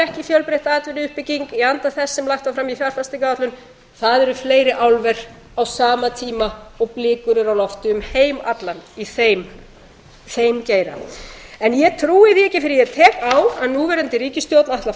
ekki fjölbreytt atvinnuuppbygging í anda þess sem lagt var fram í fjárfestingaráætlun það eru fleiri álver á sama tíma og blikur eru á lofti um heim allan í þeim geira en ég trúi því ekki fyrr en ég tek á að núverandi ríkisstjórn ætli að